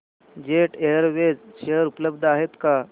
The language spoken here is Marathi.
जेट एअरवेज शेअर उपलब्ध आहेत का